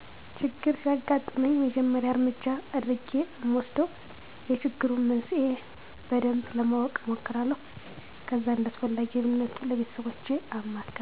ችግር ሲያግጥመኝ የመጀመሪያ እረምጃ የአድረጌ እምወስደው የችግሩን መንስሄ በደንብ ለማወቅ እሞክራለሁ ከዛ እንዳስፈላጊነቱ ለቤተሰቦቸ አማክራለሁ።